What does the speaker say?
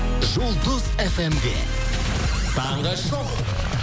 жұлдыз фм де таңғы шоу